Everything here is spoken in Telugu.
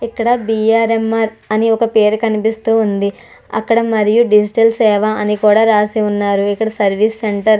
ఇక్కడ బిఆర్ఎంఆర్ అని ఒక పేరు కనిపిస్తూ ఉంది. అక్కడ మరియు డిజిటల్ సేవా అని కూడా రాసి ఉన్నారు. ఇక్కడ సర్వీస్ సెంటర్ --